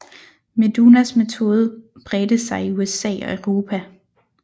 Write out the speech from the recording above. Medunas metode bredte sig i USA og Europa